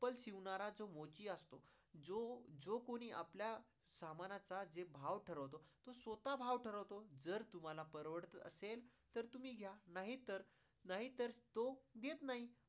चप्पल शिवणारा जो मोची असतो तो जो, जो कोणी आपल्या समानचा जे भाव ठरवतो तो स्वतः भाव ठरवतो. जर तुम्हाला परवडत असेल तर तुम्ही घ्या नाही तर, नाही तर तो देत नाही.